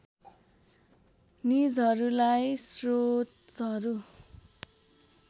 निजहरूलाई स्रोतहरू